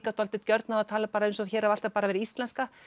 dálítið gjörn á að tala eins og hér hafi alltaf bara verið íslenska